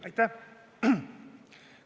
Aitäh!